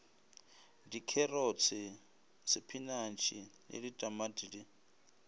dikherotse sepinatšhe le ditamati di